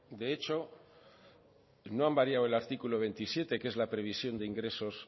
de hecho no han variado el artículo veintisiete que es la previsión de ingresos